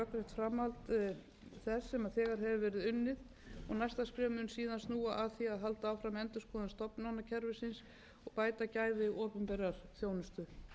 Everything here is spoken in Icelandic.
rökrétt framhald þess sem þegar hefur verið unnið og næsta skref mun síðan snúa að því að halda áfram endurskoðun stofnanakerfisins og bæta gæði opinberrar þjónustu